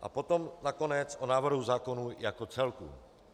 A potom nakonec o návrhu zákona jako celku.